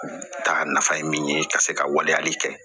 Ta nafa ye min ye ka se ka waleyali kɛ